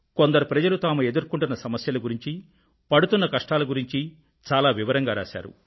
కొందరు ప్రజలు తాము ఎదుర్కొంటున్న సమస్యల గురించీ పడుతున్న కష్టాల గురించీ చాలా వివరంగా రాశారు